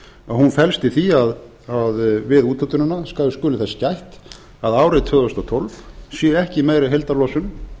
hún felst í því að við úthlutunina skuli þess gætt að árið tvö þúsund og tólf sé ekki meiri heildarlosun